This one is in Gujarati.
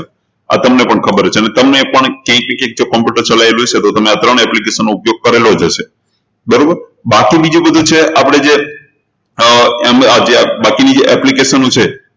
આ તમને પણ ખબર છે અને તમે પણ એક એક computer ચલાયેલું છે તો તમે આ ત્રણ application નો ઉપયોગ કરેલો જ હશે બરોબર બાકી બીજું બધું છે આપણે જે અર બાકીની જે application છે